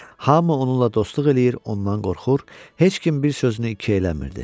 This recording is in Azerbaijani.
Hamı onunla dostluq eləyir, ondan qorxur, heç kim bir sözünü iki eləmirdi.